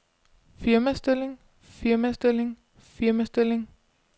firmastilling firmastilling firmastilling